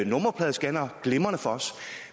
nummerpladescannere glimrende for os